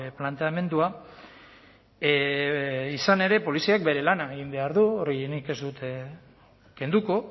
planteamendua izan ere poliziak bere lana egin behar du hori nik ez dut kenduko